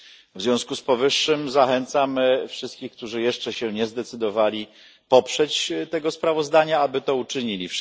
W związku z powyższym zachęcam wszystkich, którzy jeszcze się nie zdecydowali poprzeć tego sprawozdania, aby to uczynili.